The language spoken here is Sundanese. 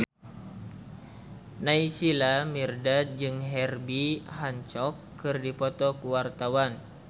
Naysila Mirdad jeung Herbie Hancock keur dipoto ku wartawan